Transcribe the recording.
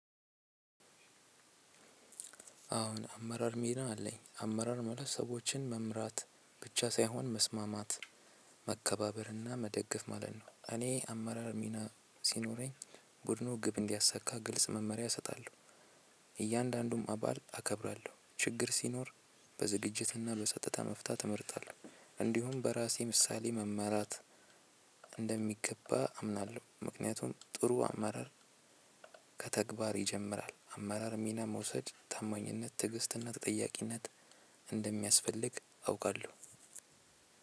አሁን አመራር ሚና አለኝ አመራር ማለት መምራት ብቻ ሳይሆን መስማማት መከባበርና መደገፍ ማለት ነው። እኔ አመራር ሚና ሲኖረኝ ቡድኑ ግብ እንዲያሳካ ግልጽ መመሪያ እሰጣለሁ። እያንዳንዱም አባል አከብራለሁ። ችግር ሲኖር በዝግጅትና በሰጥተ መፍታት እመርጣለሁ። እንዲሁም በራሴ ምሳሌ መመራት እንደሚገባ አምናለሁ። ምክንያቱም ጥሩ አማራጭ ከተግባር ይጀምራል። አመራር ሚና መውሰድ ታማኝነት ትዕግስትና ተጠያቂነት እንደሚያስፈልግ አውቃለሁ።